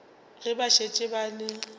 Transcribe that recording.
ge ba šetše ba le